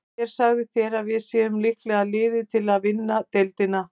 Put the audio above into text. Hver sagði þér að við séum líklegasta liðið til að vinna deildina?